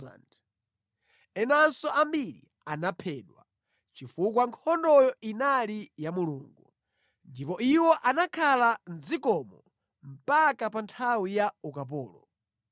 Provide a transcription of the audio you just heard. enanso ambiri anaphedwa, chifukwa nkhondoyo inali ya Mulungu. Ndipo iwo anakhala mʼdzikomo mpaka pa nthawi ya ukapolo.